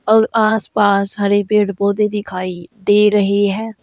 और आसपास हरे पेड़ पौधे दिखाई दे रहे हैं।